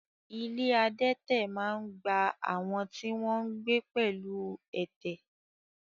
Ilé adẹ́tẹ̀ máa ń gba àwọn tí wọ́n ń gbé pẹ̀lú ẹ̀tẹ̀.